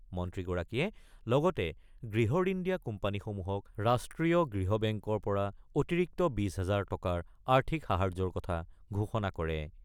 মন্ত্ৰীগৰাকীয়ে লগতে গৃহঋণ দিয়া কোম্পানীসমূহক ৰাষ্ট্ৰীয় গৃহ বেংকৰ পৰা অতিৰিক্ত ২০ হাজাৰ টকাৰ আৰ্থিক সাহাৰ্যৰ কথা ঘোষণা কৰে।